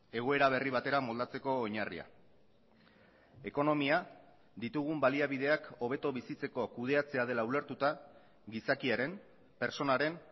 egoera berri batera moldatzeko oinarria ekonomia ditugun baliabideak hobeto bizitzeko kudeatzea dela ulertuta gizakiaren pertsonaren